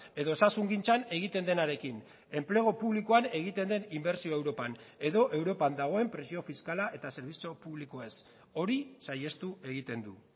edo osasungintzan egiten denarekin enplegu publikoan egiten den inbertsioa europan edo europan dagoen presio fiskala eta zerbitzu publikoez hori saihestu egiten du